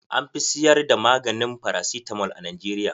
An fi siyar da maganin farasitamol a Najeriya.